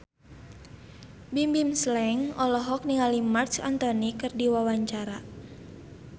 Bimbim Slank olohok ningali Marc Anthony keur diwawancara